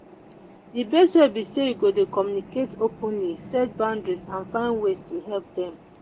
di best way be say you go dey communicate openly set boundaries and find ways to help dem.